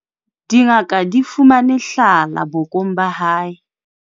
dingaka di fumane hlala bokong ba hae.